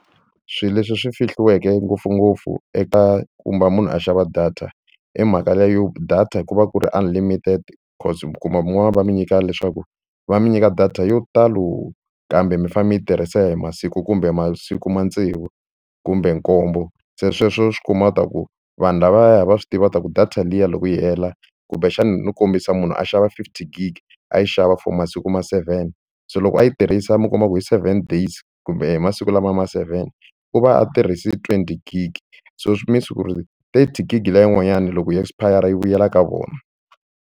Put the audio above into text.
Swilo leswi swi fihliweke ngopfungopfu eka munhu a xava data i mhaka leyo data ku va ku ri unlimited cause mi kuma van'wani va mi nyika leswaku va mi nyika data yo talo kambe mi fanele mi yi tirhisa hi masiku kumbe masiku ma tsevu kumbe nkombo se sweswo swi kuma u ta ku vanhu lavaya va swi tiva ta ku data liya loko yi hela kumbexani no kombisa munhu a xava fifty gig a yi xava for masiku ma seven se loko a yi tirhisa mi kuma ku hi seven days kumbe masiku lama ma seven u va a tirhise twenty gig so tigigi leyi yin'wanyana loko yi expire-a yi vuyela ka vona.